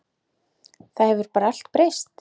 Það hefur bara allt breyst.